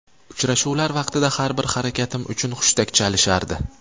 Uchrashuvlar vaqtida har bir harakatim uchun hushtak chalishardi.